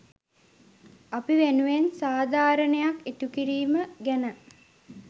අපි වෙනුවෙන් සාධාරණයක් ඉටු කිරීම ගැන.